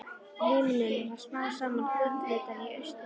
Himininn varð smám saman gulleitari í austri.